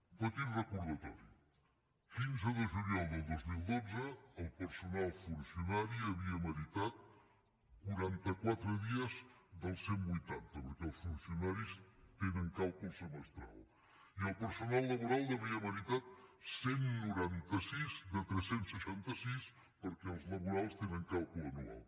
un petit recordatori quinze de juliol del dos mil dotze el personal funcionari havia meritat quaranta quatre dies dels cent i vuitanta perquè els funcionaris tenen càlcul semestral i el personal laboral n’havia meritat cent i noranta sis de tres cents i seixanta sis perquè els laborals tenen càlcul anual